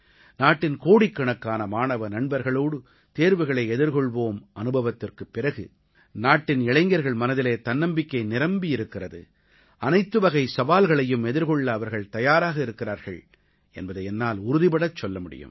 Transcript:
நாட்டின் கோடிக்கணக்கான மாணவ நண்பர்களோடு தேர்வுகளை எதிர்கொள்வோம் அனுபவத்திற்குப் பிறகு நாட்டின் இளைஞர்கள் மனதிலே தன்னம்பிக்கை நிரம்பி இருக்கிறது அனைத்துவகைச் சவால்களையும் எதிர்கொள்ள அவர்கள் தயாராக இருக்கிறார்கள் என்பதை என்னால் உறுதிபடச் சொல்ல முடியும்